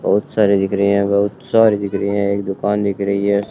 बहुत सारे दिख रहे हैं बहुत सारे दिख रहे हैं एक दुकान दिख रही है।